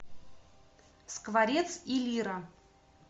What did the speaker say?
скворец и лира